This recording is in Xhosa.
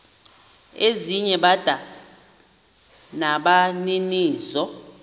ezinye bada nabaninizo